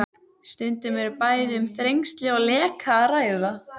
Stundum er bæði um þrengsli og leka að ræða.